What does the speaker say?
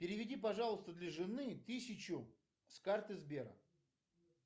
переведи пожалуйста для жены тысячу с карты сбера